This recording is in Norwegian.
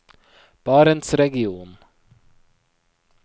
barentsregionen